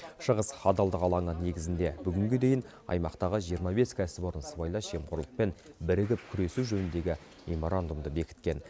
шығыс адалдық алаңы негізінде бүгінге дейін аймақтағы жиырма бес кәсіпорын сыбайлас жемқорлықпен бірігіп күресу жөніндегі меморандумды бекіткен